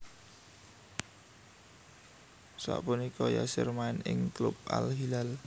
Sapunika Yasser main ing klub Al Hilal